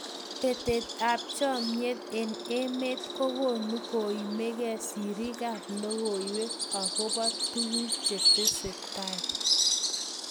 Betet ab chomnyet eng emet kokonu koimgei sirik ab logoiywek akobo tukuk chetesetai.